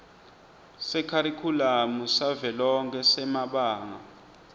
sekharikhulamu savelonkhe semabanga